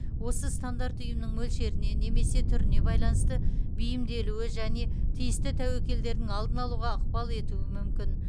осы стандарт ұйымның мөлшеріне немесе түріне байланысты бейімделуі және тиісті тәуекелдердің алдын алуға ықпал етуі мүмкін